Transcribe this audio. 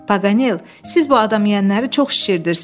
Paganel, siz bu adam yeyənləri çox şişirdirsiz.